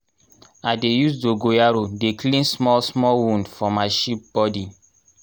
i dey use dogoyaro dey clean small small wound for my sheep body